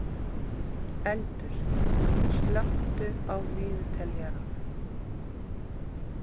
Eldur, slökktu á niðurteljaranum.